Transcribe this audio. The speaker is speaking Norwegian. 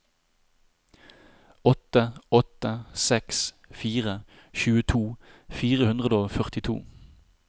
åtte åtte seks fire tjueto fire hundre og førtito